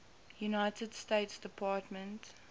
united states department